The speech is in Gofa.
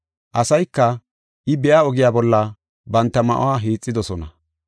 Asayka I biya ogiya bolla banta ma7uwa hiixidosona.